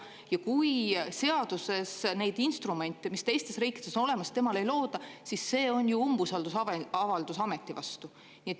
Ja kui seaduses neid instrumente, mis teistes riikides on olemas, temale ei looda, siis see on ju umbusaldusavaldus ameti vastu.